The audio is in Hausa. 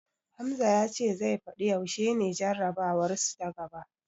Hamza ya ce zai fadi yaushe ne jarabawarsu ta gaba.